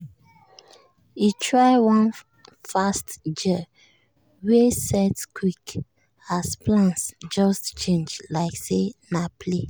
e try one fast gel wey set quick as plans just change like say na play.